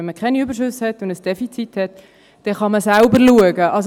Wenn man keine Überschüsse und ein Defizit hat, kann man selbst schauen.